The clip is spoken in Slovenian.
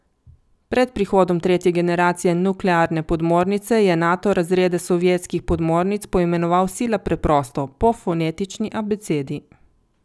Pred prihodom tretje generacije nuklearne podmornice je Nato razrede sovjetskih podmornic poimenoval sila preprosto, po fonetični abecedi.